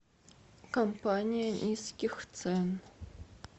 компания низких цен